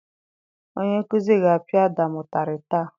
Onye nkuzi ga-apia Ádàm ụtarị taa.